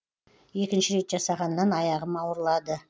екінші рет жасағаннан аяғым ауырлады